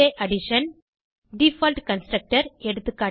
Addition default constructor